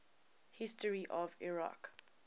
history of iraq